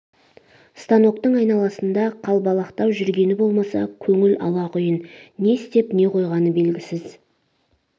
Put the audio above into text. станоктың айналасында қалбалақтап жүрген болмаса көңіл алақұйын не степ не қойғаны белгісіз